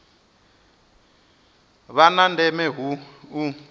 vha na ndeme hu u